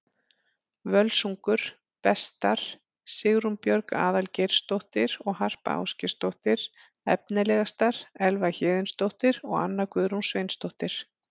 Völsungur: Bestar: Sigrún Björg Aðalgeirsdóttir og Harpa Ásgeirsdóttir Efnilegastar: Elva Héðinsdóttir og Anna Guðrún Sveinsdóttir